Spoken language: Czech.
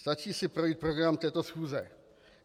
Stačí si projít program této schůze.